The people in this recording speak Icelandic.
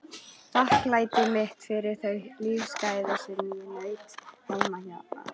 Þakklæti mitt fyrir þau lífsgæði sem ég naut heima á